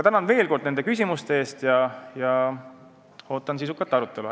Tänan veel kord küsimuste eest ja ootan sisukat arutelu.